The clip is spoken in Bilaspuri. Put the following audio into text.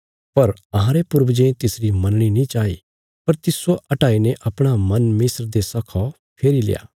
पर अहांरे पूर्वजें तिसरी मनणी नीं चाई पर तिस्सो हटाईने अपणा मन मिस्र देशा खा फेरील्या